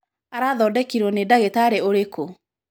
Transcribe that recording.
Arathodekirwo nĩ ndagitarĩ ũrĩkũ?.